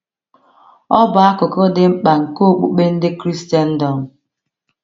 Ọ bụ akụkụ dị mkpa nke okpukpe ndị Kraịstndọm.